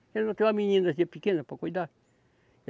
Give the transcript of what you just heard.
Ela não tem uma meninazinha pequena para cuidar.